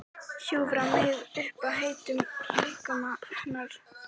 Hjúfra mig upp að heitum líkama hennar.